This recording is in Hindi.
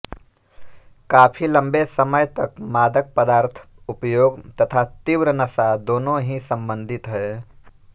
काफी लंबे समय तक मादक पदार्थ उपयोग तथा तीव्र नशा दोनो ही संबंधित हैं